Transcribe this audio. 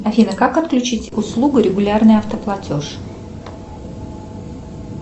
афина как отключить услугу регулярный автоплатеж